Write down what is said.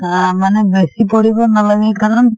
আহ মানে বেছি পঢ়িব নালাগে কাৰণ